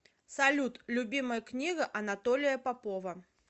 салют любимая книга анатолия попова